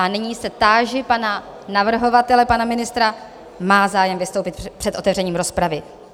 A nyní se táži pana navrhovatele, pana ministra - má zájem vystoupit před otevřením rozpravy?